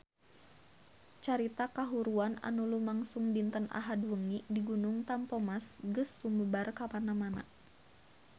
Carita kahuruan anu lumangsung dinten Ahad wengi di Gunung Tampomas geus sumebar kamana-mana